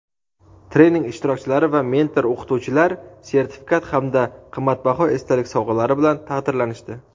trening ishtirokchilari va mentor-o‘qituvchilar sertifikat hamda qimmatbaho esdalik sovg‘alari bilan taqdirlanishdi.